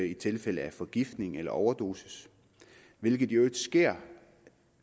i tilfælde af forgiftning eller overdosis hvilket i øvrigt sker